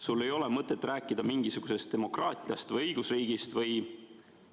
Sul ei ole mõtet rääkida mingisugusest demokraatiast või õigusriigist või ...